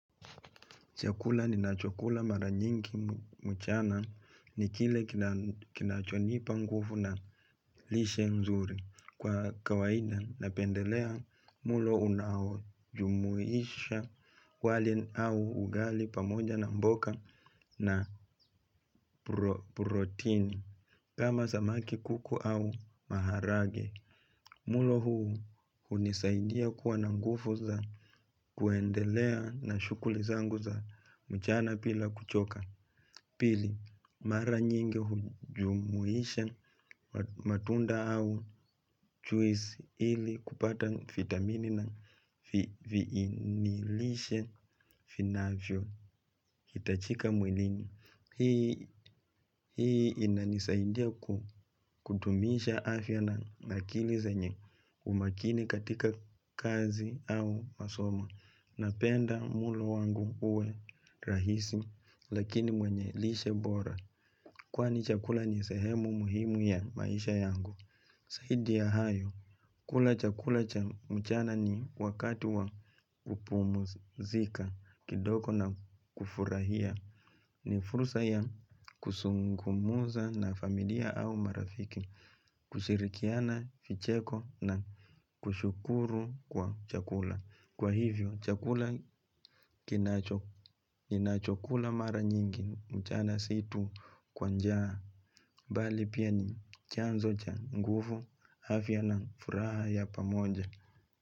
Chakula nina cho kula mara nyinki mchana ni kile kinachonipa ngufu na lishe nzuri. Kwa kawaida napendelea mulo unao jumuisha wali au ugali pamoja na mboka na protein. Kama zamaki kuku au maharage. Mulo huu unisaidia kuwa nangufu za kuendelea na shukuli zangu za mchana pila kuchoka. Pili, mara nyingi hujumuisha matunda au juisi ili kupata vitamini na viini lishe vinavyohitajika mwilini. Hii inanisaidia kudumisha afya na akili zenye umakini katika kazi au masomo. Napenda mlo wangu uwe rahisi lakini wenye lishe bora. Kwani chakula ni sehemu muhimu ya maisha yangu. Zaidi ya hayo, kula chakula cha mchana ni wakati wa kupumzika kidogo na kufurahia. Ni fursa ya kuzungumza na familia au marafiki. Kushirikiana vicheko na kushukuru kwa chakula. Kwa hivyo chakula cha mchana si tu kwa njaa. Bali pia ni chanzo cha nguvu afya na furaha ya pamoja.